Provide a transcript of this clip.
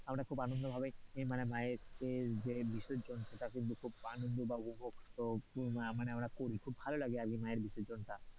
আমরা খুব আনন্দ ভাবে মায়ের যে বিসর্জন সেটা কিন্তু খুব আনন্দ বা উপভোগ মানে আমরা করি, খুব ভালো লাগে আর কি মায়ের বিসর্জনটা,